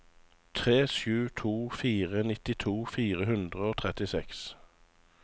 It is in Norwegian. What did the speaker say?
tre sju to fire nittito fire hundre og trettiseks